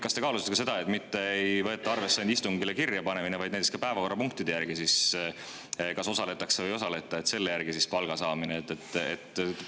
Kas te kaalusite ka seda, et mitte ei võeta arvesse istungile kirja panemine, vaid näiteks päevakorrapunktide kaupa, kas osaletakse või ei osaleta, ja selle järgi palka?